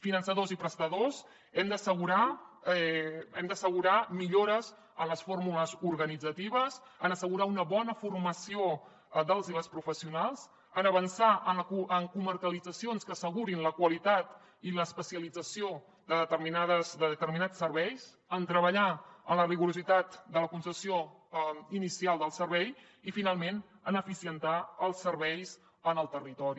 finançadors i prestadors hem d’assegurar millores en les fórmules organitzatives en assegurar una bona formació dels i les professionals en avançar en comarcalitzacions que assegurin la qualitat i l’especialització de determinats serveis en treballar en la rigorositat de la concessió inicial del servei i finalment en eficientar els serveis en el territori